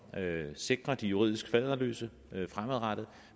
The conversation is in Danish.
sikrer de juridisk faderløse fremadrettet